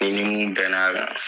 N'i ni mun bɛn n'a la